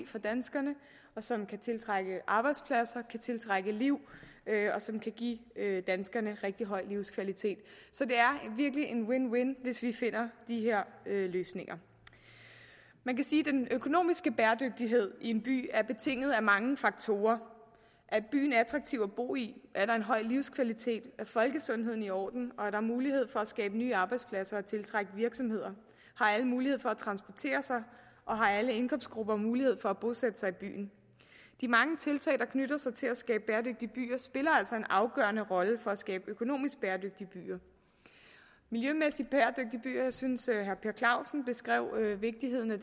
for danskerne som kan tiltrække arbejdspladser kan tiltrække liv og som kan give danskerne rigtig høj livskvalitet så det er virkelig en win win hvis vi finder de her løsninger man kan sige at den økonomiske bæredygtighed i en by er betinget af mange faktorer er byen attraktiv at bo i er der en høj livskvalitet er folkesundheden i orden er der mulighed for at skabe nye arbejdspladser og tiltrække virksomheder har alle mulighed for at transportere sig og har alle indkomstgrupper mulighed for at bosætte sig i byen de mange tiltag der knytter sig til at skabe bæredygtige byer spiller altså en afgørende rolle for at skabe økonomisk bæredygtige byer miljømæssigt bæredygtige byer synes jeg at herre per clausen beskrev vigtigheden af